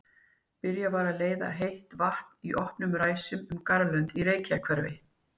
Byrjað að leiða heitt vatn í opnum ræsum um garðlönd í Reykjahverfi.